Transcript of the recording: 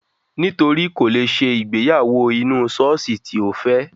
Nítorí kò lè ṣe ìgbéyàwó inú sọ́ọ́sì tí Ó fẹ́.